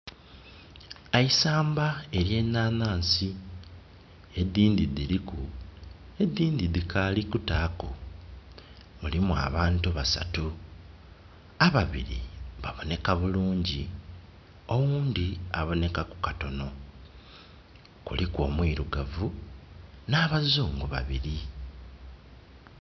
Eisamba erye nanasi. Edindi diriku, edindi dikali kutaaku. Mulimu abantu basatu. Ababiri baboneka bulungi, owundi aboonekaku katono. Kuliku omwirugavu na bazungu babiri.